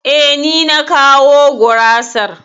E, ni na kawo gurasar.